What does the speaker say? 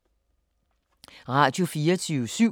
Radio24syv